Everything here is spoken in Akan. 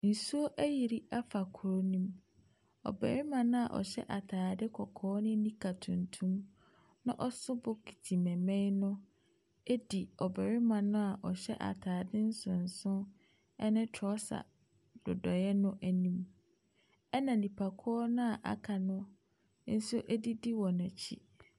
Nsuo ayiri afa kuro ne mu. Ɔbarima no a ɔhyɛ ataade kɔkɔɔ ne nika tuntum na ɔso bokiti mmɛmɛn no di ɔbarima no a ɔhyɛ ataade nsonson ne trɔsa nnodoeɛ no anim. Na nnipakuo a aka no nso didi wɔn akyi.